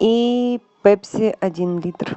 и пепси один литр